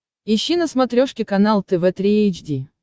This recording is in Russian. ищи на смотрешке канал тв три эйч ди